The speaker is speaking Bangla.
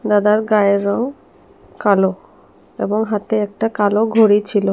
দাদার গায়ের রং কালো এবং হাতে একটা কালো ঘড়ি ছিলো।